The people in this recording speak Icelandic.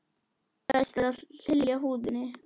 Best er að hylja húðina.